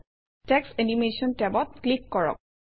text animation টেবত click কৰক